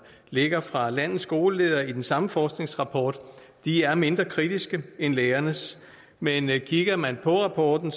ligger fra landets skoleledere i den samme forskningsrapport er mindre kritiske end lærernes men kigger man på rapporten